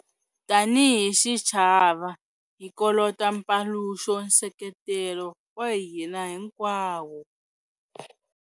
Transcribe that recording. Tanihi xichava hi kolota mpaluxo nseketelo wa hina hinkwawo.